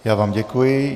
Já vám děkuji.